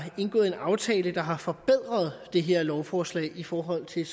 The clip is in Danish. indgået en aftale der har forbedret det her lovforslag i forhold til